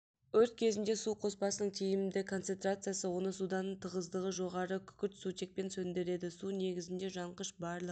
өрт кезінде су қоспасының тиімді концентрациясы оны судан тығыздығы жоғары күкіртсутекпен сөндіреді су негізіне жанғыш барлық